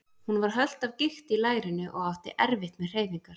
Hún var hölt af gikt í lærinu og átti erfitt með hreyfingar.